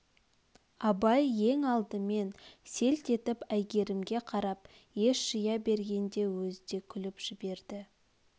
абай ең алдымен селт етіп әйгерімге қарап ес жия бергенде өз де күліп жіберді